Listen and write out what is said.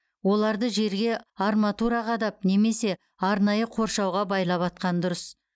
оларды жерге арматура қадап немесе арнайы қоршауға байлап атқан дұрыс